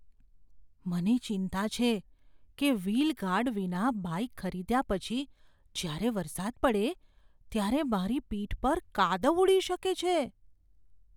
મને ચિંતા છે કે વ્હીલ ગાર્ડ વિના બાઇક ખરીદ્યા પછી જ્યારે વરસાદ પડે ત્યારે મારી પીઠ પર કાદવ ઉડી શકે છે.